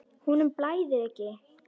Honum blæðir ekki.